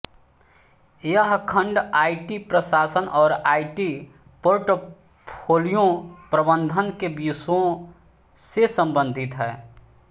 यह खंड आईटी प्रशासन और आईटी पोर्टफोलियो प्रबंधन के विषयों से संबंधित है